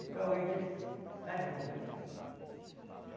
Até hoje a gente está junto aí.